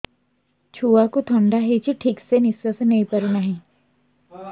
ଛୁଆକୁ ଥଣ୍ଡା ହେଇଛି ଠିକ ସେ ନିଶ୍ୱାସ ନେଇ ପାରୁ ନାହିଁ